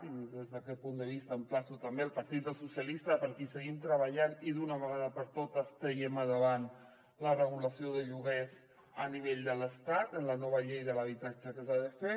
i des d’aquest punt de vista emplaço també el partit dels socialistes perquè hi seguim treballant i d’una vegada per totes tirem endavant la regulació de lloguers a nivell de l’estat amb la nova llei de l’habitatge que s’ha de fer